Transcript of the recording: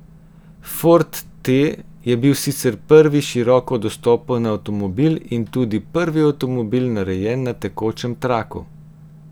Ford T je bil sicer prvi široko dostopen avtomobil in tudi prvi avtomobil, narejen na tekočem traku.